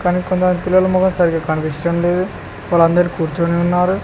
పిల్లల మొఖం సరిగ్గా కనిపించడం లేదు వాళ్ళు అందరు కూర్చొని ఉన్నారు.